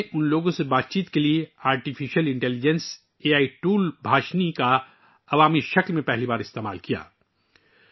وہاں میں نے پہلی بار ان کے ساتھ بات چیت کرنے کے لیے مصنوعی ذہانت کے اے آئی ٹول بھاشنی کا عوامی طور پر استعمال کیا